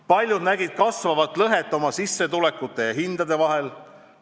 Paljud nägid kasvavat lõhet oma sissetulekute ja hindade vahel.